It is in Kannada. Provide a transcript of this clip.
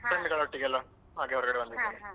Friends ಗಳ ಒಟ್ಟಿಗೆಲ್ಲಾ .